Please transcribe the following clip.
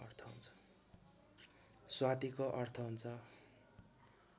स्वातिको अर्थ हुन्छ